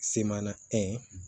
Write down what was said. Semana